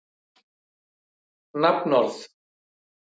Kristján Már: Hvenær kemur að því að þeim er hleypt út?